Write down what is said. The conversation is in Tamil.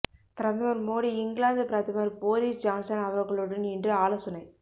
பிரதமர் மோடி இங்கிலாந்து பிரதமர் போரிஸ் ஜான்சன் அவர்களுடன் இன்று ஆலோசனை